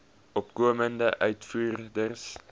opkomende uitvoerders